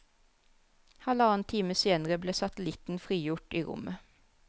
Halvannen time senere ble satellitten frigjort i rommet.